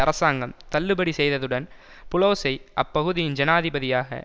அரசாங்கம் தள்ளுபடி செய்ததுடன் புளோஸை அப்பகுதியின் ஜனாதிபதியாக